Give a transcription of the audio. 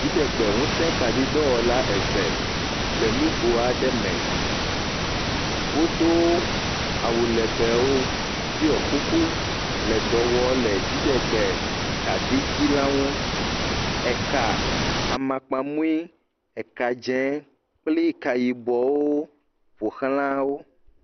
Dziɖegbeŋusekaɖidɔwɔla eve le nugo aɖe me. Wodo awu legbewo ɖɔ kuku le dɔ wɔm le dziɖegbekaɖitsi la nu. Eka amakpamui, ekadze kple ekayibɔwo ƒoxla wo.